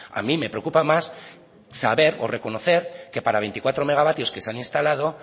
a mí me preocupa más saber o reconocer que para veinticuatro megavatios que se han instalado